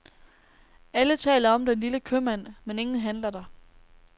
Alle taler om den lille købmand, men ingen handler der.